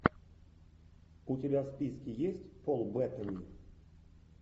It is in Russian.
у тебя в списке есть пол беттани